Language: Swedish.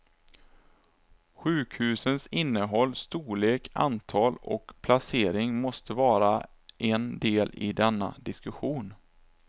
Sjukhusens innehåll, storlek, antal och placering måste vara en del i denna diskussion.